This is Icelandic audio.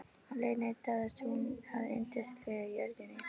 Á leiðinni dáðist hún að yndislegri jörðinni.